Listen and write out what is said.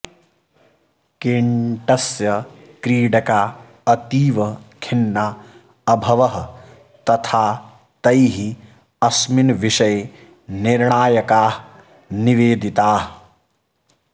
केन्टस्य क्रीडका अतीव खिन्ना अभवः तथा तैः अस्मिन् विषये निर्णायका निवेदिताः